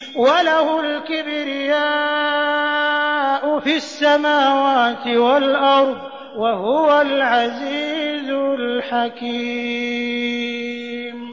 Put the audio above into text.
وَلَهُ الْكِبْرِيَاءُ فِي السَّمَاوَاتِ وَالْأَرْضِ ۖ وَهُوَ الْعَزِيزُ الْحَكِيمُ